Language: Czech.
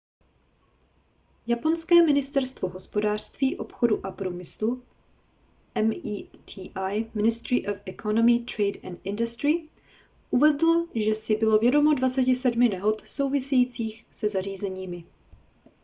japonské ministerstvo hospodářství obchodu a průmyslu meti –⁠ ministry of economy trade and industry uvedlo že si bylo vědomo 27 nehod souvisejících se zařízeními